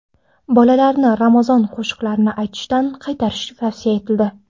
Bolalarni ramazon qo‘shiqlarini aytishdan qaytarish tavsiya etildi .